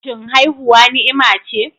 Shin haihuwa ni'ima ce?